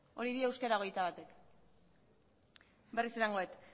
hori dio euskera hogeita batek berriz esango dut